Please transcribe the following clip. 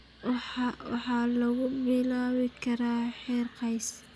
waxaa lagu bilaabi karaa heer qoys.